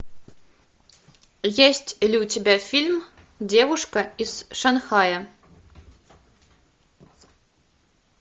есть ли у тебя фильм девушка из шанхая